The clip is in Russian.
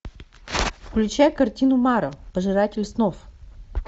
включай картину мара пожиратель снов